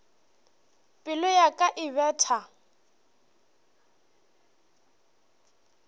pelo ya ka e betha